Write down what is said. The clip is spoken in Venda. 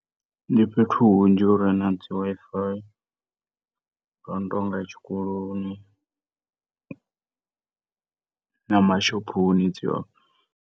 Ndi fhethu hunzhi fhuri na dzi Wi-Fi hu no tonga tshikoloni na mashophoni dzi hone.